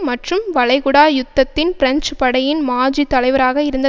மற்றும் வளைகுடா யுத்தத்தின் பிரெஞ்சு படையின் மாஜி தலைவராக இருந்த